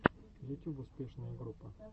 ютюб успешная группа